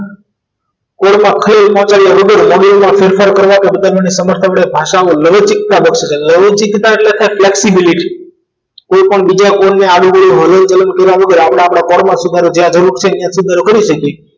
કોઈ પણ ખેલ માટે module માં ફેરફાર કરવા કે બધા મન એ સમર્થ મન એ ભાષા લવંજિજ્તા લવંજિજ્તા એટલે flexibility કોઈ પણ બીજા કોઈ ને આદિ આવડું હલન દુલન કર્યા વગર અપડે આપડા પોર માં કરી સાકીએ